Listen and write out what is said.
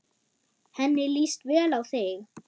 Henni líst vel á þig.